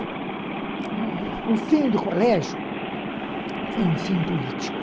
O fim do colégio foi um fim político.